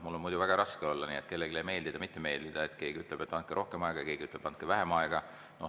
Mul on muidu väga raske kellelegi meeldida või mitte meeldida, kui keegi ütleb, et andke rohkem aega, ja keegi ütleb, et andke vähem aega.